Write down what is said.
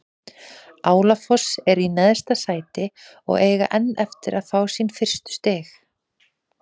Álafoss er í neðsta sæti og eiga enn eftir að fá sín fyrstu stig.